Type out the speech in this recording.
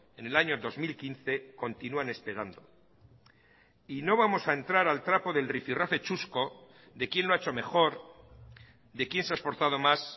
en el año dos mil quince continúan esperando y no vamos a entrar al trapo del rifi rafe chusco de quién lo ha hecho mejor de quién se ha esforzado más